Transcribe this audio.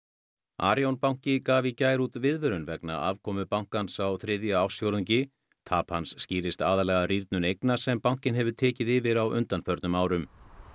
Arion banki gaf í gær út viðvörun vegna afkomu bankans á þriðja ársfjórðungi tap hans skýrist aðallega af rýrnun eigna sem bankinn hefur tekið yfir á undanförnum árum